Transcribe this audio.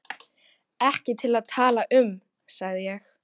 Ekki til að tala um, sagði ég.